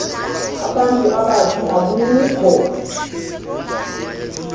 abantu abathi akukho